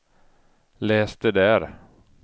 läs det där